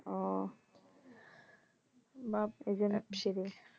ও বাপ এইজন্য